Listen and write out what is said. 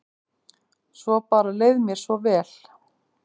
Svo bara leið mér svo vel.